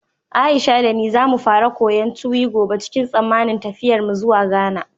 Aisha da ni za mu fara koyon Tuwi gobe cikin tsammanin tafiyarmu zuwa Ghana.